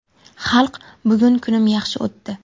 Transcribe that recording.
Xalq, bugun kunim yaxshi o‘tdi.